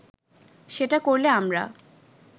সেটা করলে আমরা